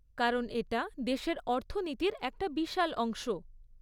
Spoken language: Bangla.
কারণ, এটা দেশের অর্থনীতির একটা বিশাল অংশ।